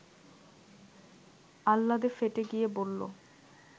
আহ্লাদে ফেটে গিয়ে বলল